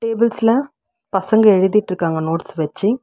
புள்ஸ்ல பசங்க எழுதிட்ருக்காங்க நோட்ஸ் வெச்சி.